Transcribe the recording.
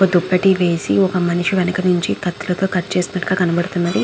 ఒక దుప్పటి వేసి ఒక మనిషి వెనకాల నుంచి కత్తి కత్తెరతో కట్ చేసినట్టుగా ఉన్నది.